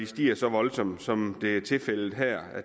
stiger så voldsomt som det er tilfældet her